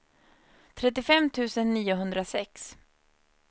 trettiofem tusen niohundrasex